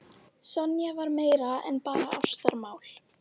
Sonja var meira en bara ástarmál.